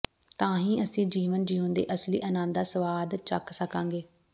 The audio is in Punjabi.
ਤਾਂ ਹੀ ਅਸੀਂ ਜੀਵਨ ਜਿਊਣ ਦੇ ਅਸਲੀ ਆਨੰਦ ਦਾ ਸਵਾਦ ਚੱਖ ਸਕਾਂਗੇ